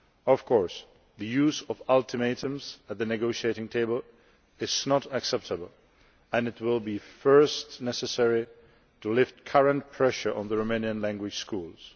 Of course, the use of ultimatums at the negotiating table is not acceptable and it will first be necessary to lift current pressure on the Romanian language schools.